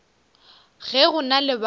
ge go na le bao